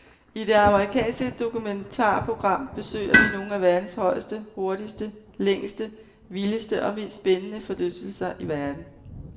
I det amerikanske dokumentarprogram besøger vi nogle af verdens højeste, hurtigste, længste, vildeste og mest spændende forlystelser i verden.